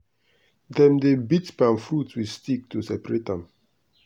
dem dey beat palm fruit with stick to separate am.